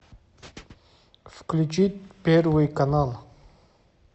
включить первый канал